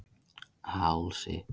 Hálsi